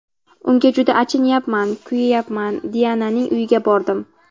Unga juda achinayapman, kuyayapman... Diananing uyiga bordim.